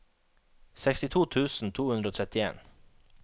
sekstito tusen to hundre og trettien